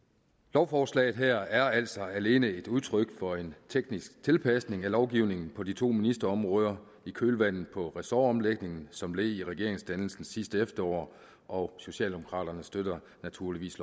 lovforslaget her er altså alene et udtryk for en teknisk tilpasning af lovgivningen på de to ministerområder i kølvandet på ressortomlægningen som led i regeringsdannelsen sidste efterår og socialdemokraterne støtter naturligvis